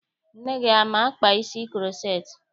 Nne gị ama-akpa isi kuroceti?